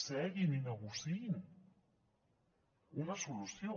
seguin i negociïn una solució